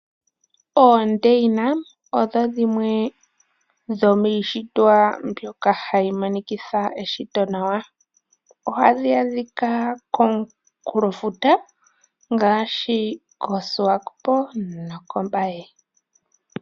Oondeina odho dhimwe dhomishitwa mbyoka hayi monikitha eshito nawa. Ohadhi adhika komukunkulofuta ngashi koSwakopo nOmbaye.